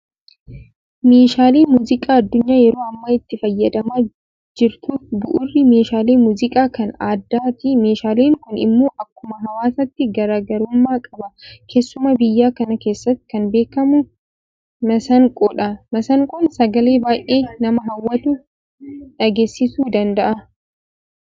Meeshaalee muuziqaa addunyaan yeroo ammaa itti fayyadamaa jirtuuf bu'uurri meeshaalee muuziqaa kan aadaati. Meeshaaleen kun immoo akkuma hawaasaatti garaa garummaa qaba. Keessumaa biyya kana keessatti kan beekamu Masaanqoodha. Masaanqoon sagalee baay'ee nama hawwatu dhageessisuu danda'a.